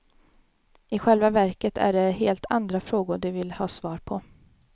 I själva verket är det helt andra frågor de vill ha svar på.